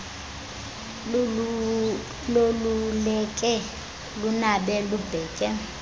loluleke lunabe lubheke